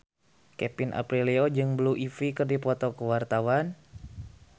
Kevin Aprilio jeung Blue Ivy keur dipoto ku wartawan